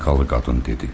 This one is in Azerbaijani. Amerikalı qadın dedi.